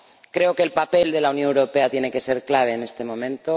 Creo que el papel de la Unión Europea tiene que ser clave en este momento.